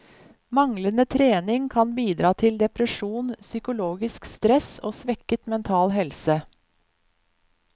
Manglende trening kan bidra til depresjon, psykologisk stress og svekket mental helse.